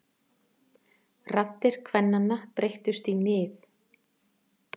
Raddir kvennanna breyttust í nið.